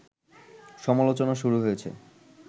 সমালোচনা শুরু হয়েছে